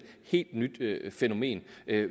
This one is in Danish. helt nyt fænomen